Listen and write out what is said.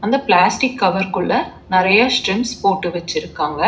அ plastic cover குள்ள நெறையா ஸ்ட்ரிம்ஸ் போட்டு வச்சுருக்காங்க.